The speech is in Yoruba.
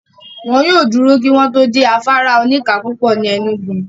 Wọ́n yóò dúró kí wọ́n tó dé afárá oníka púpọ̀ ní Enugu.